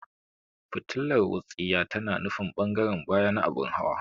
Fitilar wutsiya tana nufin ɓangaren baya na abin hawa.